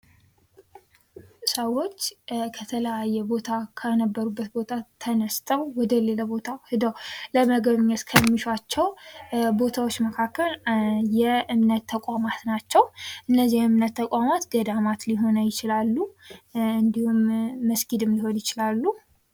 ሰዎች ከተለያዩ ቦታ ከነበረበት ቦታ ተነስተው ወደ ሌላ ቦታ ሄደው ለመጎብኘት ከሚሿቸው ቦታዎች መካከል የእምነት ተቋማት ናቸው የእምነት ተቋማት ገዳማት ሊሆኑ ይችላሉ እንዲሁም መስጊድም ሊሆኑ ይችላሉ ::